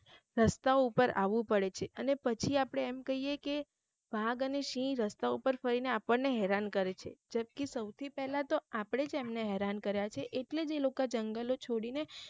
રસ્તા ઉપર આવું પડે છે અને પછી આપડે એમ કહીયે કે વાઘ અને સિંહ રસ્તા ઉપર ફરીને આપણને હેરાન કરે છે જબકી સૌથી પેલા તો આપડે જ એમને હેરાન કર્યા છે એટલે જ એ લોકા જંગલો છોડી ને